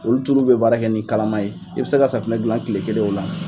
Olu tulu bɛ baara kɛ ni kalama ye i bɛ se ka safinɛ dilan tile kelen o la.